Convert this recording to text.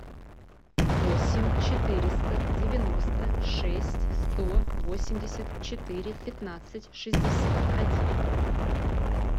восемь четыреста девяносто шесть сто восемьдесят четыре пятнадцать шестьдесят один